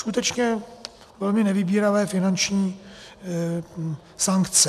Skutečně velmi nevybíravé finanční sankce.